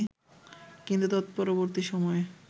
কিন্তু তৎপরবর্তী সময়ে